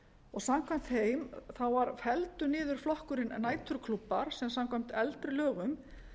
og samkvæmt þeim var felldur niður flokkurinn næturklúbbar sem samkvæmt eldri lögum